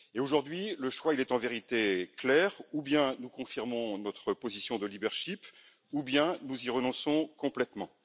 Aujourd'hui, le choix est en vérité clair soit nous confirmons notre position de leadership soit nous y renonçons complètement.